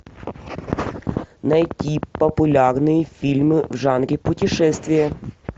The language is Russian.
найти популярные фильмы в жанре путешествия